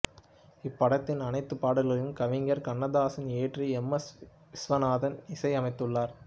இப்படத்தின் அனைத்து பாடல்களையும் கவிஞர் கண்ணதாசன் இயற்றி எம் எஸ் விஸ்வநாதன் இசையமைத்துள்ளார்